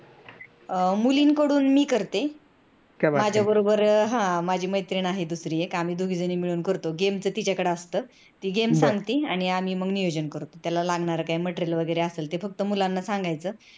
मुलींकडून मी करते माझ्याबरोबर माझी मैत्रीण आहे दुसरी एक game च तिच्याकडे असत ती game सांगते आणि आम्ही मग नियोजन करतो त्याला की लागणार material वगैरेअसेल ते फक्त मुलांना सांगायचा